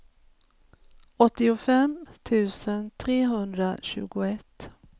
åttiofem tusen trehundratjugoett